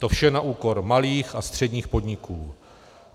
To vše na úkor malých a středních podniků.